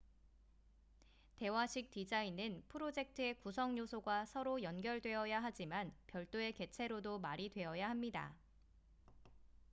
대화식 디자인은 프로젝트의 구성 요소가 서로 연결되어야 하지만 별도의 개체로도 말이 되어야 합니다